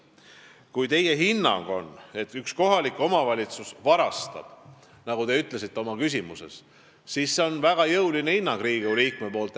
Kui teie hinnang on, et üks kohalik omavalitsus varastab, nagu te oma küsimuses ütlesite, siis see on väga jõuline hinnang Riigikogu liikmelt.